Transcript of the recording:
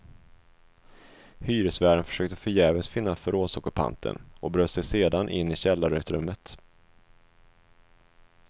Hyresvärden försökte förgäves finna förrådsockupanten och bröt sig sedan in i källarutrymmet.